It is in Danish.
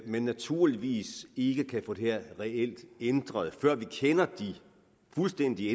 vi naturligvis ikke kan få det her ændret før vi kender de fuldstændige